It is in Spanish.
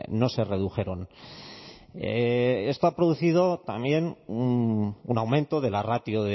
no se redujeron esto ha producido también un aumento de la ratio